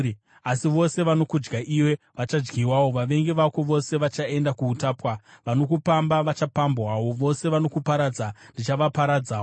“ ‘Asi vose vanokudya iwe vachadyiwawo; vavengi vako vose vachaenda kuutapwa. Vanokupamba, vachapambwawo; vose vanokuparadza, ndichavaparadzawo.